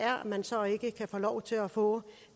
man så ikke kan få lov til at få